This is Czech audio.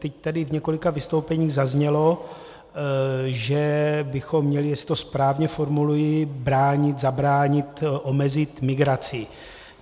Teď tady v několika vystoupeních zaznělo, že bychom měli - jestli to správně formuluji - bránit, zabránit, omezit migraci.